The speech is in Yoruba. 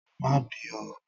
Má bì oo!